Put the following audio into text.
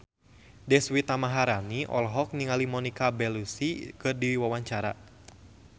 Deswita Maharani olohok ningali Monica Belluci keur diwawancara